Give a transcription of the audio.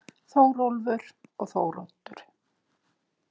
Þórólfur og Þóroddur.